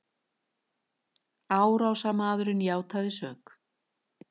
Árásarmaðurinn játaði sök